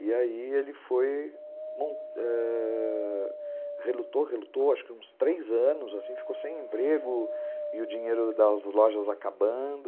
E aí ele foi, ãh... relutou, relutou, acho que uns três anos, ficou sem emprego e o dinheiro das lojas acabando.